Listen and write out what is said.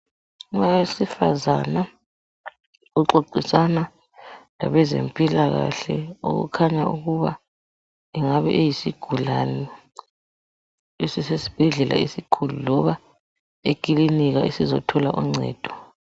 owesfazana uxoxisana labezempilakahle okukhanya ukuba engabe eyisisgulane esisesibhedle esikhulu loba ekilinika esizothola uncedo